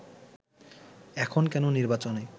এখন কেন নির্বাচনে